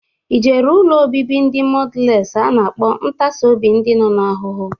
Ijere ụlọ obibi ndị mọdales a na-akpọ ntasi obi ndi nọ n'ahụhụ?